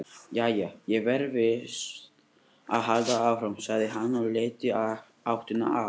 Jæja, ég verð víst að halda áfram, sagði hann og leit í áttina að